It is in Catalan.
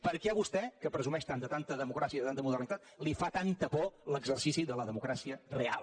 per què vostè que presumeix tant de tanta democràcia i de tanta modernitat li fa tanta por l’exercici de la democràcia real